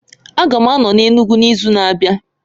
A ga m ano na Enugwu n'izu na-abịa